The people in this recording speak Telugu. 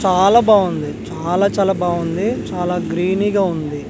చాలా బాగుంది చాలా చాలా బాగుంది చాలా గ్రీనీ గా ఉంది.